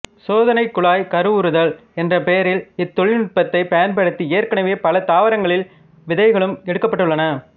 சோதனைக் குழாய் கருவுறுதல் என்ற பெயரில் இத்தொழிநுட்பத்தை பயன்படுத்தி ஏற்கனவே பல தாவரங்களில் விதைகளும் எடுக்கப்பட்டுள்ளன